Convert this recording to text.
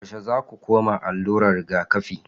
Yaushe zaku koma allurar rigakafi